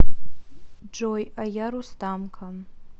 джой а я рустамка